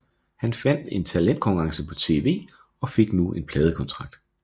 Han vandt en talentkonkurrence på tv og fik nu en pladekontrakt